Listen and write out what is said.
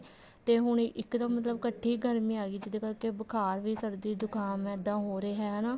ਤੇ ਹੁਣ ਇੱਕ ਦਮ ਮਤਲਬ ਕੱਠੀ ਗਰਮੀ ਆਗੀ ਜਿਹਦੇ ਕਰਕੇ ਬੁਖਾਰ ਵੀ ਸਰਦੀ ਜੁਕਾਮ ਇੱਦਾਂ ਹੋ ਰਿਹਾ ਹਨਾ